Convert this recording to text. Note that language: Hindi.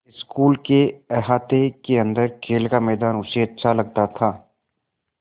स्कूल के अहाते के अन्दर खेल का मैदान उसे अच्छा लगता था